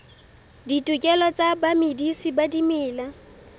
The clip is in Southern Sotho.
ditokelo tsa bamedisi ba dimela